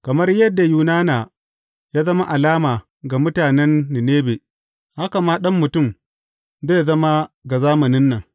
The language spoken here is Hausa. Kamar yadda Yunana ya zama alama ga mutanen Ninebe, haka ma Ɗan Mutum zai zama ga zamanin nan.